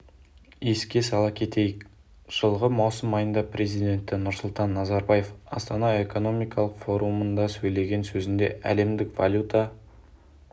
еске сала кетейік жылғы маусым айында президенті нұрсұлтан назарбаев астана экономикалық форумында сөйлеген сөзінде әлемдік валюта